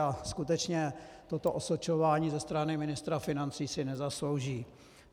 A skutečně toto osočování ze strany ministra financí si nezaslouží.